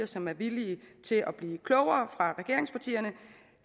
som er villige til at blive klogere